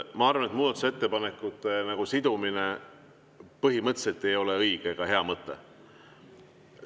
Ma arvan, et muudatusettepanekute sidumine põhimõtteliselt ei ole õige ega hea mõte.